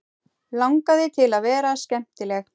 Langaði til að vera skemmtileg.